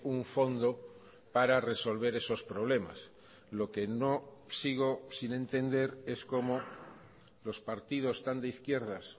un fondo para resolver esos problemas lo que no sigo sin entender es cómo los partidos tan deizquierdas